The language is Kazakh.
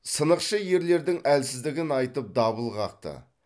сынықшы ерлердің әлсіздігін айтып дабыл қақты